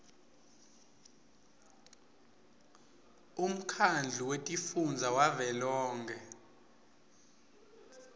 umkhandlu wetifundza wavelonkhe